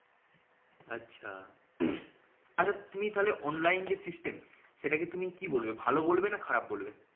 আচ্ছা। আচ্ছা তুমি তাহলে অনলাইন যে system সেতাকে তুমি কি বলবে ভালো বলবে না খারাপ বলবে?